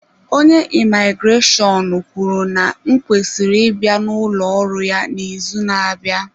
Onye imigreshọnụ kwuru na m kwesịrị ịbịa n'ụlọ ọrụ ya n'izu na-abịa.